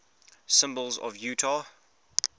symbols of utah